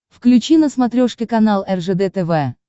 включи на смотрешке канал ржд тв